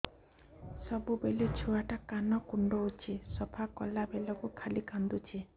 ସବୁବେଳେ ଛୁଆ ଟା କାନ କୁଣ୍ଡଉଚି ସଫା କଲା ବେଳକୁ ଖାଲି କାନ୍ଦୁଚି